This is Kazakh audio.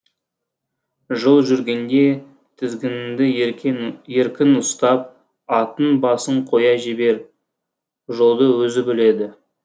жол жүргенде тізгініңді еркін ұстап аттың басын қоя бер жолды өзі біледі